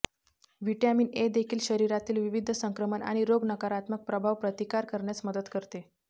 vitamin A देखील शरीरातील विविध संक्रमण आणि रोग नकारात्मक प्रभाव प्रतिकार करण्यास मदत करते